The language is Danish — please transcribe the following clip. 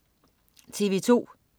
TV2: